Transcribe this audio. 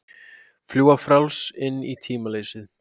Fljúga frjáls inn í tímaleysið.